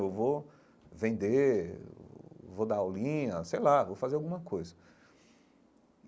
Eu vou vender, vou dar aulinha, sei lá, vou fazer alguma coisa.